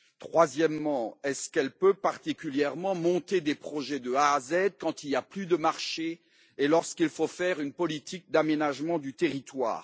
Troisièmement, est ce qu'elle peut particulièrement monter des projets de A à Z, quand il n'y a plus de marché et lorsqu'il faut faire une politique d'aménagement du territoire?